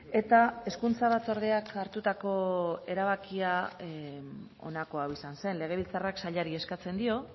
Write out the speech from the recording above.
eta hezkuntza batzordeak hartutako erabakia honako hau izan zen legebiltzarrak sailari eskatzen dio